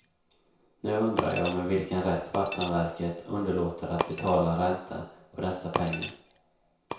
Nu undrar jag med vilken rätt vattenverket underlåter att betala ränta på dessa pengar.